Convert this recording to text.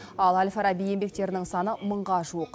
ал әл фараби еңбектерінің саны мыңға жуық